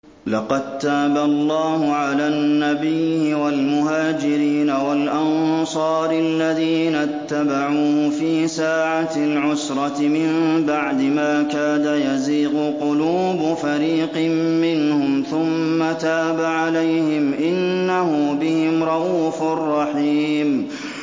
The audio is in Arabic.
لَّقَد تَّابَ اللَّهُ عَلَى النَّبِيِّ وَالْمُهَاجِرِينَ وَالْأَنصَارِ الَّذِينَ اتَّبَعُوهُ فِي سَاعَةِ الْعُسْرَةِ مِن بَعْدِ مَا كَادَ يَزِيغُ قُلُوبُ فَرِيقٍ مِّنْهُمْ ثُمَّ تَابَ عَلَيْهِمْ ۚ إِنَّهُ بِهِمْ رَءُوفٌ رَّحِيمٌ